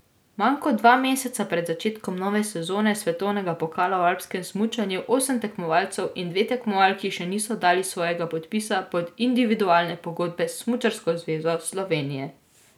Manj kot dva meseca pred začetkom nove sezone svetovnega pokala v alpskem smučanju osem tekmovalcev in dve tekmovalki še niso dali svojega podpisa pod individualne pogodbe s Smučarsko zvezo Slovenije.